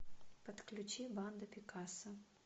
подключи банда пикассо